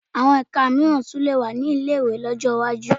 Àwọn ẹka mìíràn tún lè wà ní ilé-ìwé ní ọjọ́ iwájú